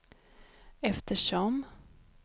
eftersom